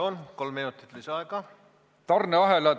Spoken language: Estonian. Palun, kolm minutit lisaaega!